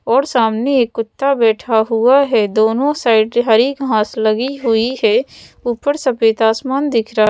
और सामने एक कुत्ता बैठा हुआ है दोनों साइड हरी घांस लगी हुई है ऊपर सफेद आसमान दिख रहा--